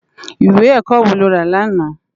Iwé èkò wó ló rá làná?